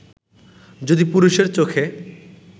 যদি পুরুষের চোখে